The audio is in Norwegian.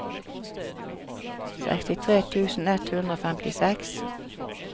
sekstitre tusen ett hundre og femtiseks